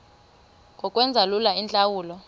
ngokwenza lula iintlawulo